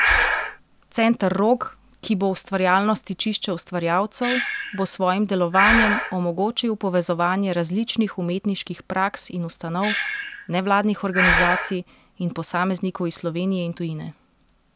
Center Rog, ki bo ustvarjalno stičišče ustvarjalcev, bo s svojim delovanjem omogočil povezovanje različnih umetniških praks in ustanov, nevladnih organizacij in posameznikov iz Slovenije in tujine.